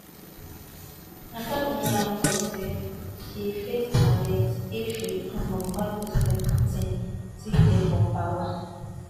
navalnaya know say um she face arrest if she return home while president um putin still dey for power